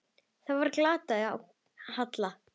Þá var glatt á hjalla.